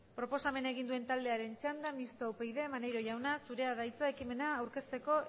proposamen egin duen taldearen txanda mistoa upyd maneiro jauna zurea da hitza ekimena aurkezteko